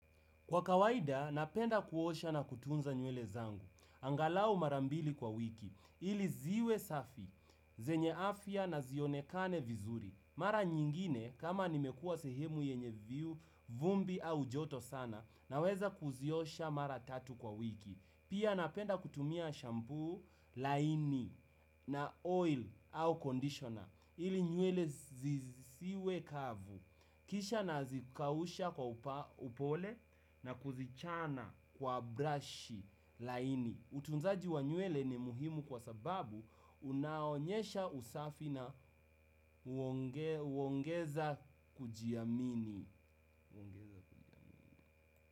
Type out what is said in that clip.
Kwa kawaida, napenda kuosha na kutunza nywele zangu. Angalau mara mbili kwa wiki, ili ziwe safi, zenye afya na zionekane vizuri. Mara nyingine, kama nimekuwa sehemu yenye vumbi au joto sana, naweza kuziosha mara tatu kwa wiki. Pia napenda kutumia shampuu laini na oil au conditioner, ili nywele zisiwe kavu. Kisha nazikausha kwa upole na kuzichana kwa brush laini. Utunzaji wa nywele ni muhimu kwa sababu unaonyesha usafi na uongeza kujiamini.